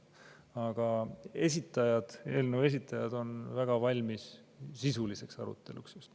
Aga eelnõu esitajad on väga valmis sisuliseks aruteluks.